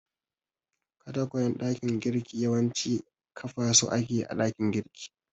Katakwayen dakin girki yawanci kafa su ake a dakin girkin.